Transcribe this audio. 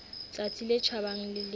tsatsi le tjhabang le le